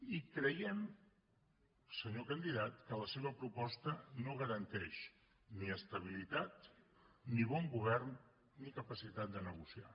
i creiem senyor candidat que la seva proposta no garanteix ni estabilitat ni bon govern ni capacitat de negociar